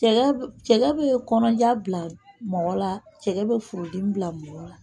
Cɛkɛ bɛ cɛkɛ bɛ kɔnɔja bila mɔgɔ la cɛkɛ bɛ furudimi bila mɔgɔ la.